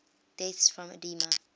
deaths from edema